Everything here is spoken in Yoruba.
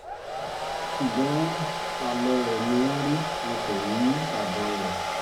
ṣùgbọ́n àlọ rẹ̀ ni wọ́n rí wọn kò rí àbọ̀ rẹ̀